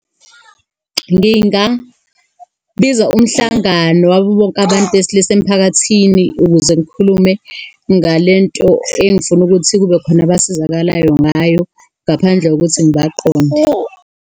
Ngingabiza umhlangano wabo bonke abantu besilisa emphakathini ukuze ngikhulume ngale nto engifuna ukuthi kube khona abasizakalayo ngayo, ngaphandle kokuthi ngibaqonde.